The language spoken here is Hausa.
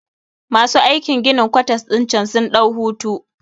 Masu aikin ginin kwatas ɗin cen sun ɗau hutu